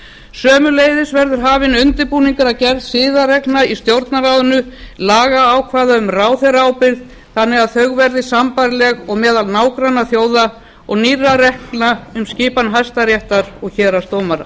sömuleiðis verður hafinn undirbúningur að gerð siðareglna í stjórnarráðinu lagaákvæða um ráðherraábyrgð þannig að þau verði sambærileg og meðal nágrannaþjóða og nýrra reglna um skipan hæstaréttar og héraðsdómara